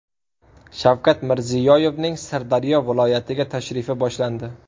Shavkat Mirziyoyevning Sirdaryo viloyatiga tashrifi boshlandi.